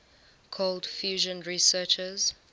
cold fusion researchers